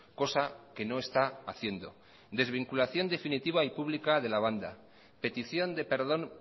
cosa que no está haciendo desvinculación definitiva pública de la banda petición de perdón